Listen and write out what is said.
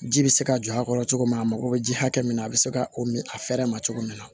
Ji bɛ se ka jɔ a kɔrɔ cogo min na a mako bɛ ji hakɛ min na a bɛ se ka o min a fɛɛrɛ ma cogo min na